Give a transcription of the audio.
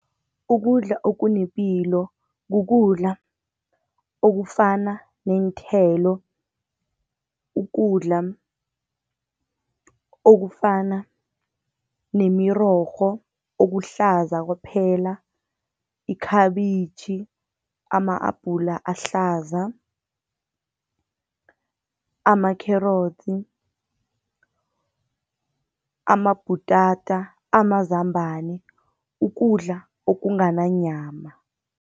Ukudla okunepilo kukudla okufana neenthelo, ukudla okufana nemirorho okuhlaza kwaphela, ikhabitjhi, ama-abhula ahlaza, amakherotsi, amabhutata, amazambana ukudla okungananyama.